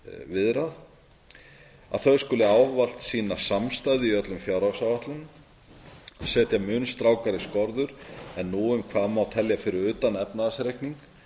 viðrað að þau skuli ávallt sýna samstæðu í öllum fjárhagsáætlunum að setja mun strangari skorður en nú um hvað má telja fyrir utan efnahagsreikning